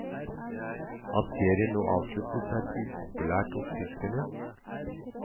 At serien nå avsluttes er upopulært hos tyskerne.